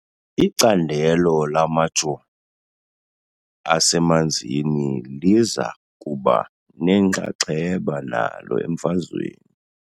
Icandelo lamajoni asemanzini liza kuba nenxaxheba nalo emfazweni .